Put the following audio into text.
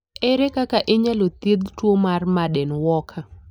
Ere kaka inyalo thiedh tuwo mar Marden Walker?